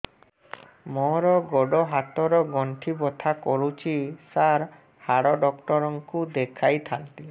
ମୋର ଗୋଡ ହାତ ର ଗଣ୍ଠି ବଥା କରୁଛି ସାର ହାଡ଼ ଡାକ୍ତର ଙ୍କୁ ଦେଖାଇ ଥାନ୍ତି